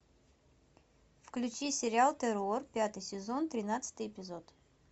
включи сериал террор пятый сезон тринадцатый эпизод